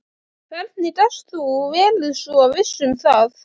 Hvernig gast þú verið svo viss um það?